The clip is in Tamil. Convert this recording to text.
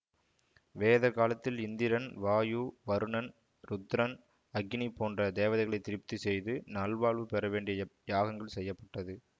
வேத காலத்தில் இந்திரன் வாயு வருணன் ருத்ரன் அக்கினி போன்ற தேவதைகளை திருப்தி செய்து நல்வாழ்வு பெற வேண்டி யாகங்கள் செய்ய பட்டது